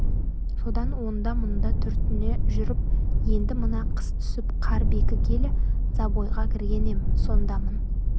содан онда-мұнда түртіне жүріп енді мына қыс түсіп қар бекігелі забойға кірген ем сондамын